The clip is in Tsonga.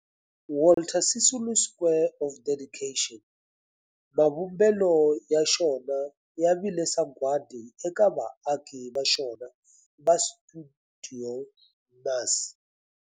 Walter Sisulu Square of Dedication, mavumbelo ya xona ya vile sagwadi eka vaaki va xona va stuidio MAS.